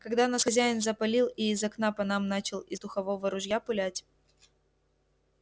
когда нас хозяин запалил и из окна по нам начал из духового ружья пулять